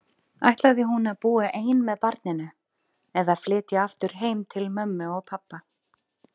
Ætlaði hún að búa ein með barninu, eða flytja aftur heim til mömmu og pabba?